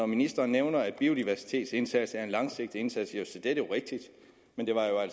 ministeren nævner at biodiversitetsindsatsen er en langsigtet indsats